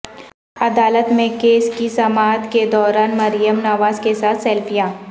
عدالت میں کیس کی سماعت کے دوران مریم نواز کیساتھ سیلفیاں